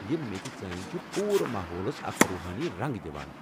یِم میژِ ژٲنٛگۍ چھِ پوٗرٕ ماحولَس اکھ روحٲنی رنگ دِوان۔